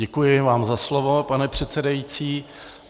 Děkuji vám za slovo, pane předsedající.